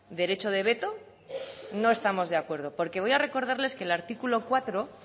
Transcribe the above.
derecho de veto no estamos de acuerdo porque voy a recordarles que el artículo cuatro